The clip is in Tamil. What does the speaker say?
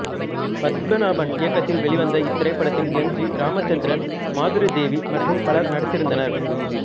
பத்மநாபன் இயக்கத்தில் வெளிவந்த இத்திரைப்படத்தில் எம் ஜி இராமச்சந்திரன் மாதுரிதேவி மற்றும் பலரும் நடித்திருந்தனர்